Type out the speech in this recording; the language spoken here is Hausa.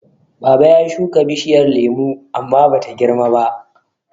Baba ya shuka bishiyar lemo amma Bata girmaba.